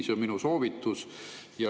See on minu soovitus.